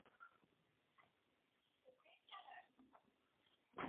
keetae sapukini oitaisheiki enkiremore te kenya naa keetae sii mbaa nasuji